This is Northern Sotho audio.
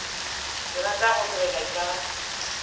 ke rata go nwela ka